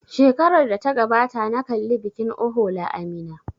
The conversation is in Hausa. Shekarar da ta gabata na kalli bikin ohola a Minna.